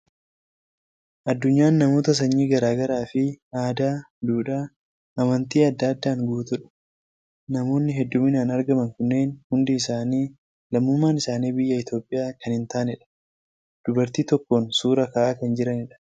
Addunyaan namoota sanyii garaa garaa fi aadaa, duudhaa, amantii adda addaadhaan guutuudha. Namoonni hedduminaan argaman kunneen hundi isaani lammummaan isaanii biyya Itoophiyaa kan hin taanedha. Dubartii tokkoon suuraa ka'aa kan jiranidha.